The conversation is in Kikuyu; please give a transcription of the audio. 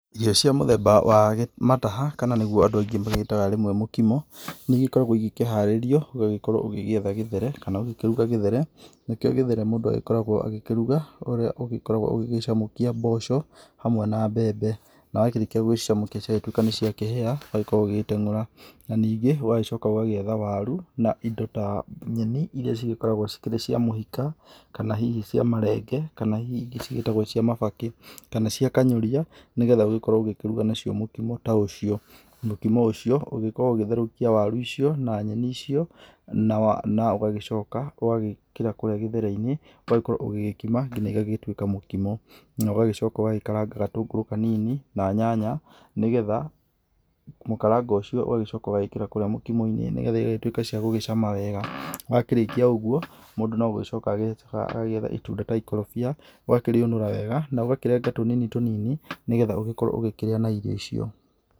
Irio cia mũthemba wa mataha kana nĩgũo andũ aingĩ magĩtaga rĩmwe mũkimo nĩ igĩkoragwo igĩkĩharĩrio ũgagĩkorwo ũgĩetha gĩthere kana ũgĩkĩrũga gĩthere nĩkĩo gĩthere mũndũ agĩkoragwo agĩkĩrũga ũrĩa agĩkoragwo agĩgĩcamũkia mboco hamwe na mbembe na wakĩrĩkia gũgĩcamũkia cĩgagĩtwĩka nĩ ciakĩhĩa ũgagĩkorwo ũgĩteng'ũra na ningĩ ũgagĩcoka ũgagĩetha warũ na indo ta nyeni ĩrĩa ĩgĩkoragwo ĩrĩ cia mũhĩka kana hihi cia marenge kana hihi ingĩ cigĩĩtagwo cia mabakĩ kana cia kanyoria nĩgathe ũgĩkorwo ũgĩkĩrũga nacio mũkimo ta ũcio mũkimo ũcio ũkoragwo ũgĩtherũkia warũ icio na nyeni icio na na ũgagĩcoka ũgagĩkĩra kũrĩa gĩthere inĩ ũgagĩkorwo ũgĩkima ngĩna ĩgagĩtwĩka mũkimo na ũgagĩcoka ũgagĩkaranga gatũngũrũ kanini na nyanya nĩgetha mũkarango ũcio ũgakĩra kũrĩa mũkimo inĩ nĩgathe igagĩtwĩka cia gũgĩcama wega wakĩrĩkia ũguo mũndũ no gũgĩcoka agĩcokaga agagĩetha itũnda ta ikoroibia ũgakĩrĩũnũra wega na ũgakĩrenga tũnini tũnini nĩgetha ũgĩkorwo ũgĩkĩrĩa na irio icio.